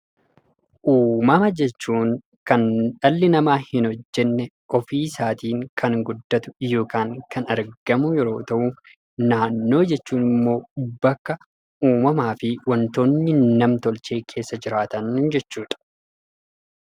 Uumaa jechuun kan dhalli namaa hinhojjenne ofiisaatiin kan argamu yemmuu ta'u, naannoo jechuun ammoo uumamaafi wantoonni namtolchee kan keessa jiraatan jechuudha.